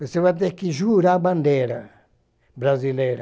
Você vai ter que jurar a bandeira brasileira.